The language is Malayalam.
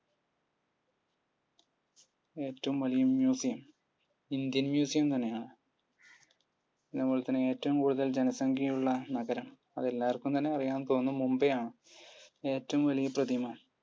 ഏറ്റവും വലിയ museum ഇന്ത്യൻ museum തന്നെയാണ് അതുപാലെത്തന്നെ ഏറ്റവും ജനസംഖ്യയുള്ള നഗരം? അത് എല്ലാര്ക്കും തന്നെ അറിയാമെന്നു തോന്നുന്നു. മുംബൈ ആണ്. ഏറ്റവും വലിയ പ്രതിമ?